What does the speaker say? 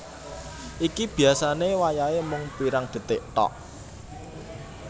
Iki biasane wayahe mung pirang detik thok